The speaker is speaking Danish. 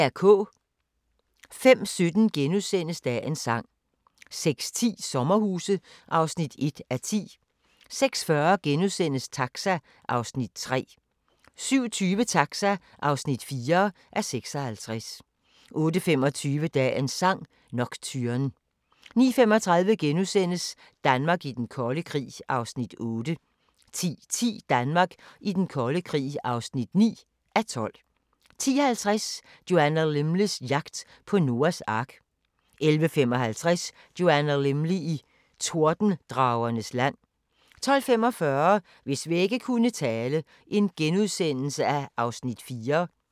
05:17: Dagens sang * 06:10: Sommerhuse (1:10) 06:40: Taxa (3:56)* 07:20: Taxa (4:56) 08:25: Dagens sang: Nocturne 09:35: Danmark i den kolde krig (8:12)* 10:10: Danmark i den kolde krig (9:12) 10:50: Joanna Lumleys jagt på Noas ark 11:55: Joanna Lumley i Tordendragernes land 12:45: Hvis vægge kunne tale (Afs. 4)*